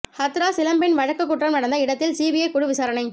ஹத்ராஸ் இளம்பெண் வழக்கு குற்றம் நடந்த இடத்தில் சிபிஐ குழு விசாரணை